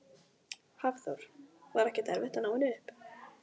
Hafþór: Var ekkert erfitt að ná henni upp?